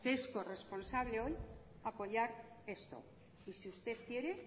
que es corresponsable hoy apoyar esto y si usted quiere